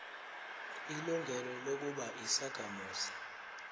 ilungelo lokuba yisakhamuzi